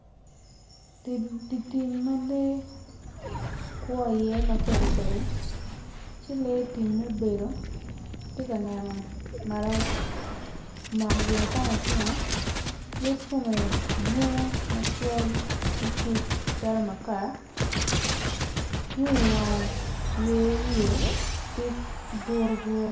Di tim ma lee kwo iye mapadipadi ci lee tim mubedo ti kaneno malo omako gia acama icinge yec kome dwong macol nicuc calo makar yung iwange yer wiye ti furu furu